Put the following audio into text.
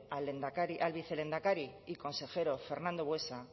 al vicelehendakari y consejero fernando buesa